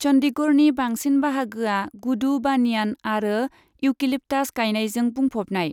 चन्डीगढ़नि बांसिन बाहागोआ गुदु बानियान आरो इउकेलिप्टास गायनायजों बुंफबनाय।